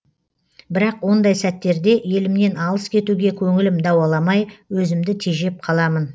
бірақ ондай сәттерде елімнен алыс кетуге көңілім дауаламай өзімді тежеп қаламын